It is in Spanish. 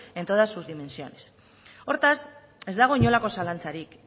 en todas sus dimensiones hortaz ez dago inolako zalantzarik